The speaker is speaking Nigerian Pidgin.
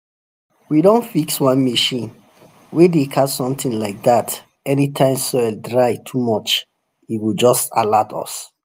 we don fix one machine way dey catch something like that anytime soil dry too much e go just alert us.